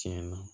Tiɲɛn na